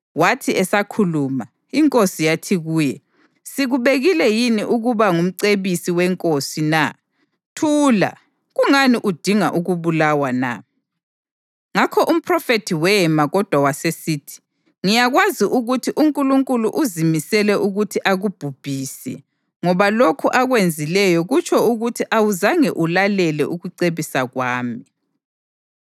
Wathi esakhuluma, inkosi yathi kuye, “Sikubekile yini ukuba ngumcebisi wenkosi na? Thula! Kungani udinga ukubulawa na?” Ngakho umphrofethi wema kodwa wasesithi, “Ngiyakwazi ukuthi uNkulunkulu uzimisele ukuthi akubhubhise, ngoba lokhu akwenzileyo kutsho ukuthi awuzange ulalele ukucebisa kwami.”